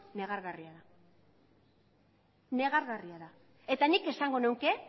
negargarria da negargarria da eta nik esango nuke